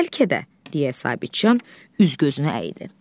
Bəlkə də, deyə Sabitcan üz-gözünü əydi.